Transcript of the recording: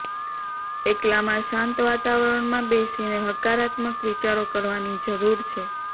એકલામાં શાંત વાતાવરણમાં બેસીને હકારાત્મક વિચારો કરવાની જરુર છે